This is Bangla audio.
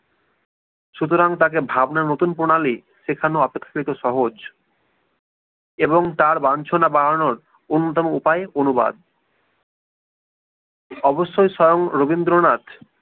সুতরাং তাকে ভাবনার নতুন প্রণালি শেখানো অপেক্ষাকৃত সহজ এবং তার বাঞ্ছনা বানানোর অনুদান উপায়ে অনুবাদ অবশ্যই স্বয়ং রবীন্দ্রনাথ